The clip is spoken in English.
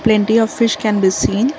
and dear fish can be seen--